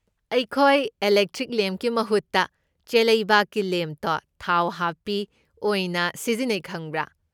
ꯑꯩꯈꯣꯏ ꯑꯦꯂꯦꯛꯇ꯭ꯔꯤꯛ ꯂꯦꯝꯞꯀꯤ ꯃꯍꯨꯠꯇ ꯆꯦꯂꯩꯕꯥꯛꯀꯤ ꯂꯦꯝꯞꯇꯣ ꯊꯥꯎ ꯍꯥꯞꯄꯤ ꯑꯣꯏꯅ ꯁꯤꯖꯤꯟꯅꯩ ꯈꯪꯕ꯭ꯔꯥ꯫